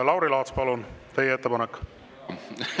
Lauri Laats, palun, teie ettepanek!